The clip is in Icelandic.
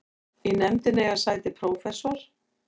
Í nefndinni eiga sæti prófessor